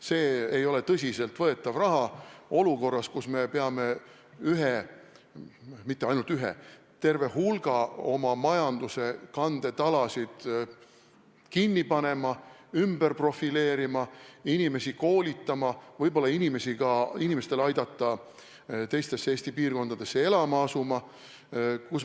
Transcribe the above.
See ei ole tõsiselt võetav olukorras, kus me ei pea mitte ühe oma majanduse kandetala, vaid terve hulga oma majanduse kandetalasid kinni panema, ümber profileerima, inimesi koolitama, võib-olla ka aitama inimestel teistesse Eesti piirkondadesse elama asuda.